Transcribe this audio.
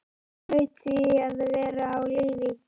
Hún hlaut því að vera á lífi.